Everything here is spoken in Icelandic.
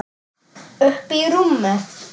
Uppí rúmi.